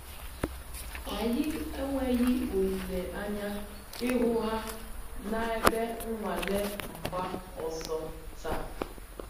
Anyị enweghị olile anya ịhụ ha na ebe nwale mgba ọsọ taa